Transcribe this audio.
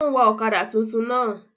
Ó ń wa ọ̀kadà túntún náà